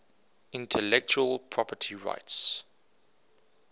intellectual property rights